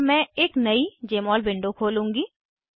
अतः मैं एक नयी जमोल विंडो खोलूंगी